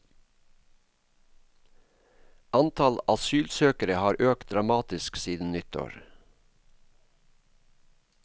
Antall asylsøkere har økt dramatisk siden nyttår.